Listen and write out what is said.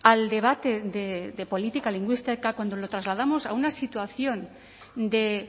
al debate de política lingüística cuando lo trasladamos a una situación de